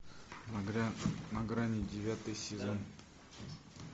на грани девятый сезон